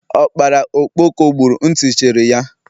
Ọkpara ọkpọko gburu, ntị cherị ya